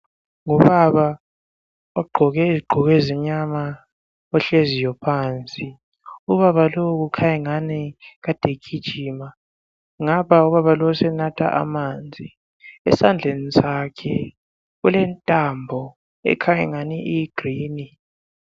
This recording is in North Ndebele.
Ngubaba ogqoke izigqoko ezimnyama ohleziyo phansi. Ubaba lo kukhanya angani kade egijima. Ngapha ubaba lowu senatha amanzi .Esandleni sakhe kulentambo ekhanya engani iyi green